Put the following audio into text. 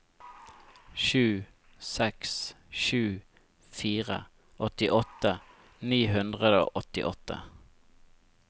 sju seks sju fire åttiåtte ni hundre og åttiåtte